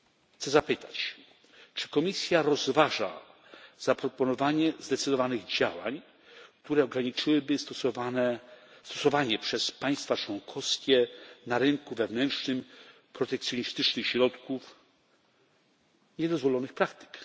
r. chcę zapytać, czy Komisja rozważa zaproponowanie zdecydowanych działań, które ograniczyłyby stosowanie przez państwa członkowskie na rynku wewnętrznym protekcjonistycznych środków i niedozwolonych praktyk.